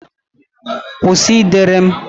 Kwụsị ịdere m!